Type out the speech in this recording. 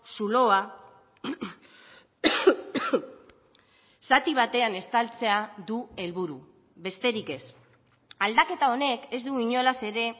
zuloa zati batean estaltzea du helburu besterik ez aldaketa honek ez du inolaz ere